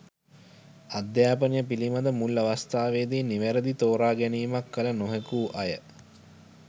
අධ්‍යාපනය පිළිබඳ මුල් අවස්ථාවේදී නිවැරදි තෝරා ගැනීමක් කළ නොහැකි වූ අය